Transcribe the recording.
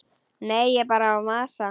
Ég er bara að masa.